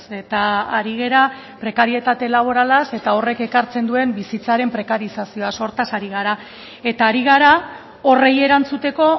eta ari gara prekarietate laboralaz eta horrek ekartzen duen bizitzaren prekarizazioaz hortaz ari gara eta ari gara horri erantzuteko